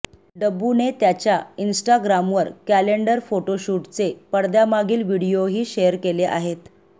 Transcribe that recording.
डब्बूने त्याच्या इंस्टाग्रामवर कॅलेंडर फोटोशूटचे पडद्यामागील व्हिडिओही शेअर केले आहेत